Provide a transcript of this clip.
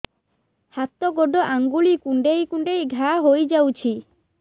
ହାତ ଗୋଡ଼ ଆଂଗୁଳି କୁଂଡେଇ କୁଂଡେଇ ଘାଆ ହୋଇଯାଉଛି